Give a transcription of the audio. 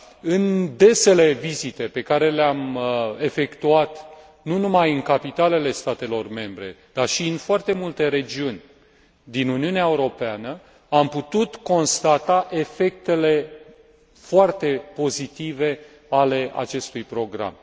În desele vizite pe care le am efectuat, nu numai în capitalele statelor membre, dar și în foarte multe regiuni din Uniunea Europeană, am putut constata efectele foarte pozitive ale acestui program.